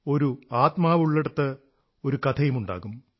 ഒരു ആത്മാവുള്ളിടത്ത് ഒരു കഥയുമുണ്ടാകും